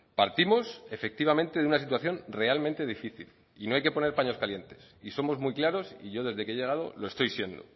partimos efectivamente de una situación realmente difícil y no hay que poner paños calientes y somos muy claros y yo desde que he llegado lo estoy siendo